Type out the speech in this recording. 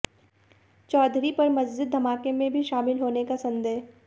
चौधरी पर मस्जिद धमाके में भी शामिल होने का संदेह